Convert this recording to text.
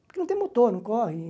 Porque não tem motor, não corre.